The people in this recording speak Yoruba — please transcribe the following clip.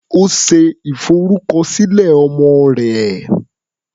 Ó ṣe ìfọrúkọsílẹ̀ ọmọ rẹ̀.